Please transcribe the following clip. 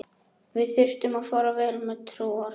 Við þurftum að fara vel með trúar.